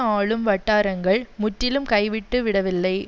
ஆளும் வட்டாரங்கள் முற்றிலும் கைவிட்டுவிடவில்லை